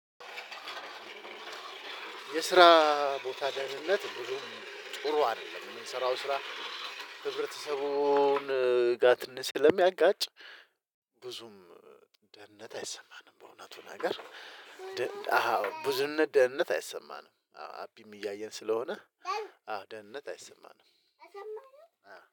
የስራ ቦታ በደህነት ብዙም ጥሩ አይደለም የምንሰራው ስራ ህብረተሰቡን ጋ ትነሽ ስለሚያጋጭ ብዙም ደህንነት አይሰማንም። በእውነቱ ነገር ብዙነት ደህንነት አይሰማንም። አቢም እያየን ስለሆነ አዎ ደህንነት አይሰማንም።